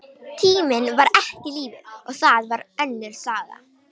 Tíminn var ekki lífið, og það var önnur saga.